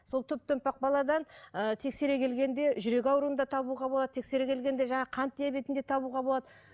сол топ томпақ баладан ы тексере келгенде жүрек ауруын да табуға болады тексере келгенде жаңағы қант диабетін де табуға болады